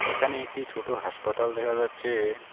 এখানে একটি ছোট হাসপাতাল দেখা যাচ্ছে।